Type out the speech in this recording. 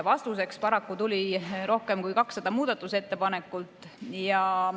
Vastuseks paraku tuli rohkem kui 200 muudatusettepanekut.